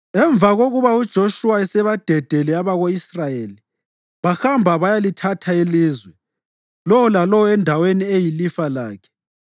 Emva kokuba uJoshuwa esebadedele abako-Israyeli, bahamba bayalithatha ilizwe, lowo lalowo endaweni eyilifa lakhe.